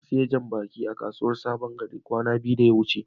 na siya jam-baki a kasuwan sabon gari kwana biyu da ya wuce.